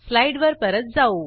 स्लाईडवर परत जाऊ